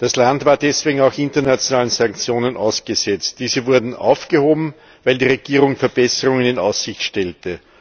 Das Land war deswegen auch internationalen Sanktionen ausgesetzt. Diese wurden aufgehoben, weil die Regierung Verbesserungen in Aussicht stellte.